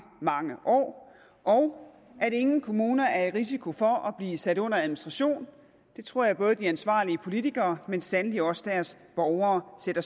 mange år og at ingen kommuner er i risiko for at blive sat under administration det tror jeg både de ansvarlige politikere men sandelig også deres borgere sætter